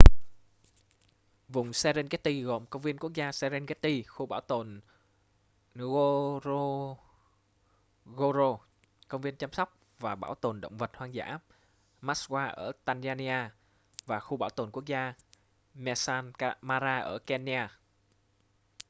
vùng serengeti gồm công viên quốc gia serengeti khu bảo tồn ngorongoro công viên chăm sóc và bảo tồn động vật hoang dã maswa ở tanzania và khu bảo tồn quốc gia maasal mara ở kenya